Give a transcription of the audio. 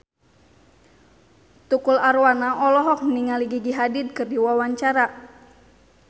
Tukul Arwana olohok ningali Gigi Hadid keur diwawancara